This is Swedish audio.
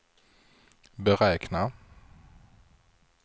beräkna